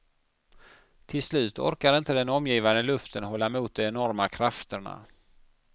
Till slut orkar inte den omgivande luften hålla emot de enorma krafterna.